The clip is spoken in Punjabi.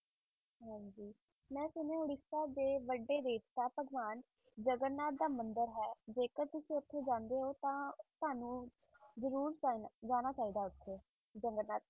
ਹਾਂਜੀ ਮੈਂ ਸੁਣਿਆ ਉੜੀਸਾ ਦੇ ਵੱਡੇ ਦੇਵਤਾ ਭਗਵਾਨ ਜਗਨਨਾਥ ਦਾ ਮੰਦਿਰ ਹੈ, ਜੇਕਰ ਤੁਸੀਂ ਉੱਥੇ ਜਾਂਦੇ ਹੋ ਤਾਂ ਤੁਹਾਨੂੰ ਜ਼ਰੂਰ ਜਾਣਾ, ਜਾਣਾ ਚਾਹੀਦਾ ਹੈ ਉੱਥੇ ਜਗਨਨਾਥ